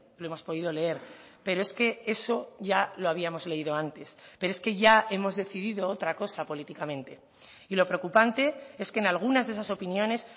lo hemos podido leer pero es que eso ya lo habíamos leído antes pero es que ya hemos decidido otra cosa políticamente y lo preocupante es que en algunas de esas opiniones